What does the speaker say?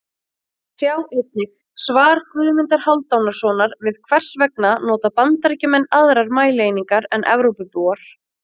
Sjá einnig: Svar Guðmundar Hálfdanarsonar við Hvers vegna nota Bandaríkjamenn aðrar mælieiningar en Evrópubúar?